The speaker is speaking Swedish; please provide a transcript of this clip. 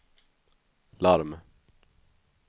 larm